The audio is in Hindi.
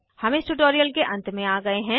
हम इस ट्यूटोरियल के अंत में आ गए हैं